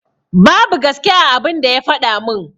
Babu gaske a abun da ya faɗa min.